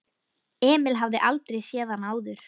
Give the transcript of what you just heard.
Emil hafði aldrei séð hann áður.